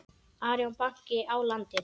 Arion banki á landið.